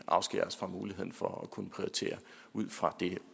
afskærer os fra muligheden for at kunne prioritere ud fra det